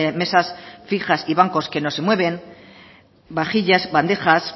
mesas fijas y bancos que no se mueven vajillas bandejas